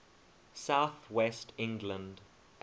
south west england